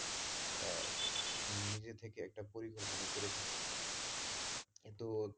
আহ নিজে থেকে একটা পরিকল্পনা করে থাকে কিন্তু,